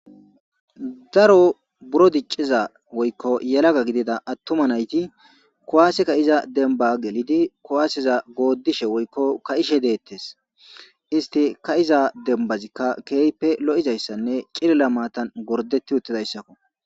Daro buro dicciza woykko yelaga gidida attuma nayti kuwaaseka iza demba gelidi kuwaaseza goodishe woykko ka7ishe deettes isti ka iza dembazikka keeype lo7izayssanne cilila maatan gordeti uttidayssakko.